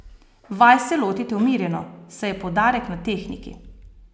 Vaj se lotite umirjeno, saj je poudarek na tehniki.